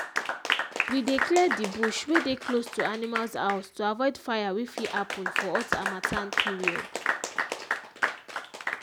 we dey clear the bush wey dey close to animals house to avoid fire wey fit happen for hot hamattan period